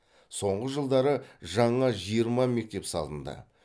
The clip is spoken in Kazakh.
соңғы жылдары жаңа жиырма мектеп салынды